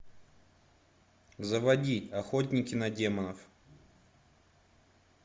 заводи охотники на демонов